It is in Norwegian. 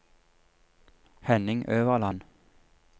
Henning Øverland